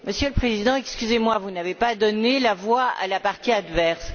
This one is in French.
Monsieur le Président, excusez moi, vous n'avez pas donné la voix à la partie adverse.